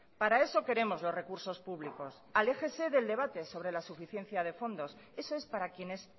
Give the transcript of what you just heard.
para eso queremos los recursos públicos aléjese del debate sobre la suficiencia de fondos eso es para quienes